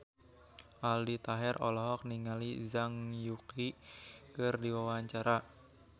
Aldi Taher olohok ningali Zhang Yuqi keur diwawancara